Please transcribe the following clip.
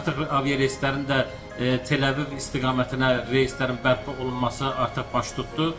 Artıq aviareyslərin də Tel-Əviv istiqamətinə reyslərin bərpa olunması artıq baş tutdu.